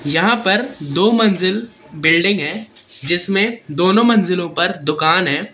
यहां पर दो मंजिल बिल्डिंग है जिसमें दोनों मंजिलों पर दुकान है।